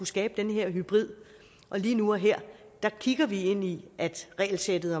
skabe den her hybrid og lige nu og her kigger vi ind i regelsættet